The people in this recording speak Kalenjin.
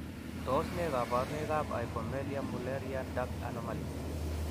Tos nee koborunoikab Hypomelia mullerian duct anomalies?